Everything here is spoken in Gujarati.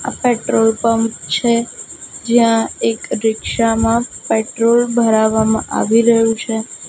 આ પેટ્રોલ પંપ છે જ્યાં એક રિક્ષા માં પેટ્રોલ ભરાવામાં આવી રહ્યું છે.